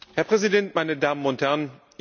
Herr Präsident, meine Damen und Herren!